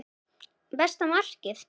Besta markið?